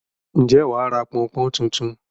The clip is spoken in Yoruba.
Ǹjẹ́ wà á ra pọn-n-pọ́n tuntun?